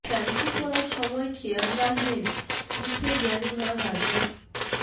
shampoo করার সময় খেয়াল রাখবেন মুখে যেন না লাগে